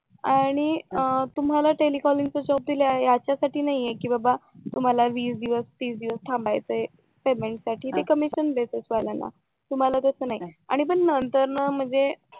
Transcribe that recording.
आणि तुम्हाला telecalling चा जॉब दिलाय याच्यासाठी कि बाबा तुम्हाला वीस दिवस तीस दिवस थांबायचं पेमेंटसाठी ते कमी करून देत वाल्याना तुम्हाला तस नाही आणि मग नंतर ना